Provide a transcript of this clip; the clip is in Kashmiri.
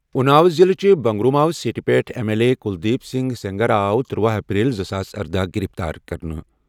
اُناو ضِلعہٕ کِس بنٛگرماؤ سیٖٹہِ پٮ۪ٹھ M L A Kuldeep Singh Sengar آو ترٗوَہ اپریل زٕساس اردہَ گِرِفتار کرنہٕ۔